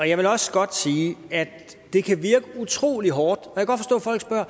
jeg vil også godt sige at det kan være utrolig hårdt